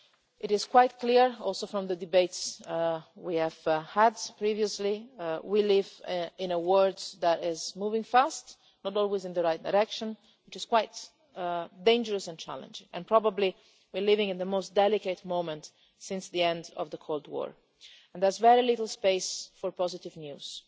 May. It is quite clear, also from the debates we have had previously, that we live in a world that is moving fast but not always in the right direction, which is quite dangerous and challenging. We are probably living in the most delicate moment since the end of the Cold War and there is very little space for positive